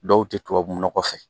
Dɔw tɛ tubabunɔgɔ fɛ